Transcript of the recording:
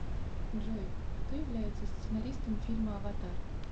джой кто является сценаристом фильма аватар